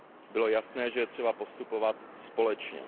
Bylo jasné, že je třeba postupovat společně.